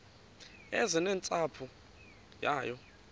eze nentsapho yayo